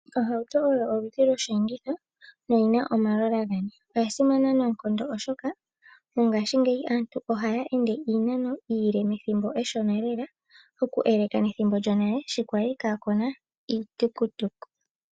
Ohauto oyo oludhi loshenditho noyina omalola ngane, oyasimana nonkondo oshoka mongashi ngeyi aantu ohayende iinano iile methimbo eshona lela oku eleka methimbo lyonale sho kwali kakuna iitukutuku.